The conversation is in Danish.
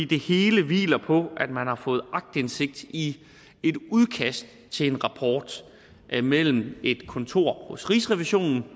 det hele hviler på at man har fået aktindsigt i et udkast til en rapport mellem et kontor hos rigsrevisionen